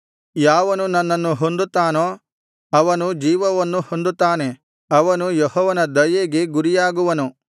ಯಾವನು ನನ್ನನ್ನು ಹೊಂದುತ್ತಾನೋ ಅವನು ಜೀವವನ್ನು ಹೊಂದುತ್ತಾನೆ ಅವನು ಯೆಹೋವನ ದಯೆಗೆ ಗುರಿಯಾಗುವನು